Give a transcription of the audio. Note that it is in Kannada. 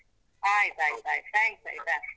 ಆಯ್ತಾಯ್ತಾಯ್ತು, thanks ಆಯ್ತಾ.